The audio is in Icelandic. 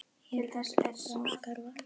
Þar eru til dæmis garðar.